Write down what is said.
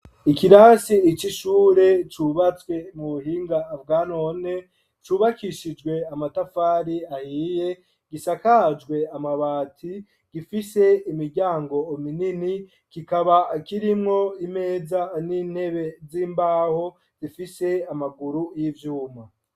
Ikirasi icishure, cubatswe mu buhinga bwanone, cubakishijwe amatafari ahiye, gisakajwe amabati ,gifise imiryango minini ,kikaba kirimwo imeza n'intebe z'imbaho, zifise amaguru y'ivyuma.